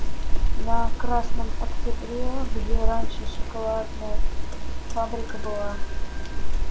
на красном октябре где раньше шоколадная фабрика была